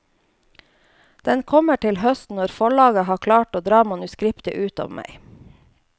Den kommer til høsten når forlaget har klart å dra manuskriptet ut av meg.